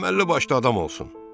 Əməlli başlı adam olsun.